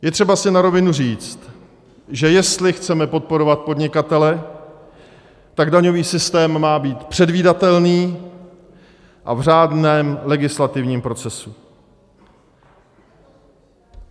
Je třeba si na rovinu říct, že jestli chceme podporovat podnikatele, tak daňový systém má být předvídatelný a v řádném legislativním procesu.